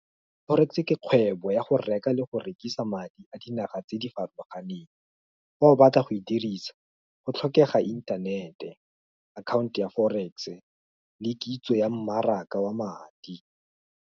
Forex-e ke kgwebo ya go reka le go rekisa madi a dinaga tse di farologaneng, fa o batla go e dirisa, go tlhokega inthanete, account ya forex-e, le kitso ya mmaraka wa madi.